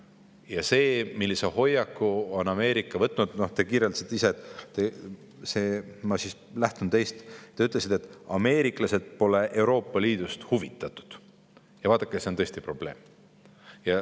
Ja vaadake, see, millise hoiaku on Ameerika võtnud – no te ise kirjeldasite seda ja ma lähtun sellest, mis te ütlesite –, et ameeriklased pole Euroopa Liidust huvitatud, on tõesti probleem.